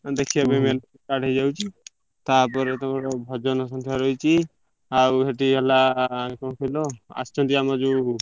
ଦେଖିବା ପାଇଁ melody start ହେଇ ଯାଉଛି